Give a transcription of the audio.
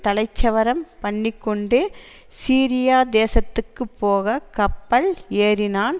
தலைச்சவரம் பண்ணிக்கொண்டு சீரியா தேசத்துக்குப்போகக் கப்பல் ஏறினான்